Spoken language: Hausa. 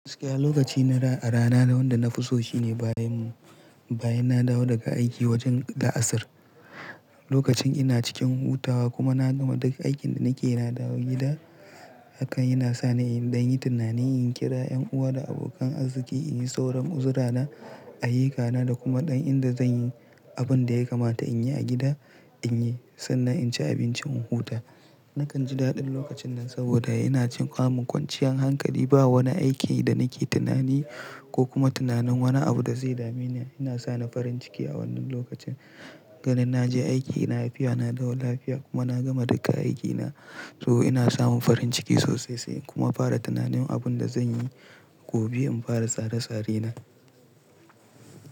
Gaskiya lokaci na rana da wanda na fi so shine bayan, bayan na dawo daga aiki wajen da asir. Lokacin ina cikin hutawa kuma na gama duk aikin da nikeyi na dawo gida, hakan yana sa ni in ɗan yi tunani, in kira ƴan uwa da abokan arziki, in yi sauran uzurana, ayyukana da kuma ɗan inda zan yi abun da ya kamata in yi a gida in yi sannan in ci abinci in huta. Nakan ji daɗin lokacin nan saboda ina cikin ƙamun kwanciyar hankali ba wani aiki da nake tunani ko kuma tunanin wani abu da zai dame ni. Ina sani farin ciki a wannan lokacin, ganin na je aiki dina lafiya, na dawo lafiya kuma na gama duka aikina. To ina samun farin ciki sosai sai kuma fara tunanin abun da zan yi gobe in fara tsare-tsare na.